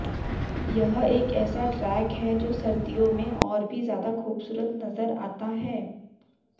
यह एक ऐसा ट्रैक है जो सर्दियों में और भी ज्यादा खूबसूरत नजर आता है